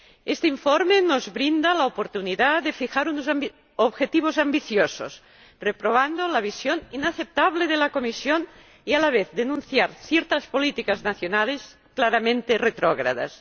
Este informe nos brinda la oportunidad de fijar unos objetivos ambiciosos, reprobando la visión inaceptable de la Comisión, y de denunciar, a la vez, ciertas políticas nacionales claramente retrógradas.